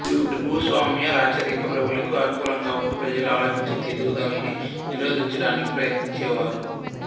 వీరు భూస్వామ్య రాచరిక ప్రభువులకి అనుకూలంగా ఉంటూ ప్రజలలో ఆలోచన శక్తి ఎదుగుదలని నిరోధించడానికి ప్రయత్నించే వారు